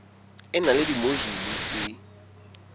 e na le dimojule tse